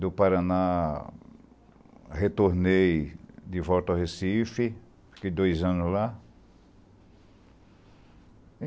do Paraná, retornei de volta ao Recife, fiquei dois anos lá.